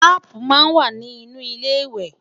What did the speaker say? taààpu má n wà nì inú ilé iwe